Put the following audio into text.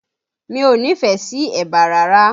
Mi ò nífẹ̀ẹ́ sí ẹ̀bà rárá